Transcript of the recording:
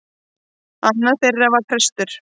Annar þeirra var prestur.